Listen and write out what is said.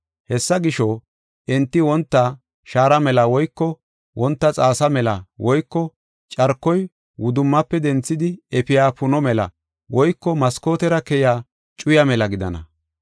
Hessa gisho, enti wonta shaara mela woyko wonta xaasa mela woyko carkoy wudummafe denthidi efiya puno mela woyko maskootera keya cuyaa mela gidana.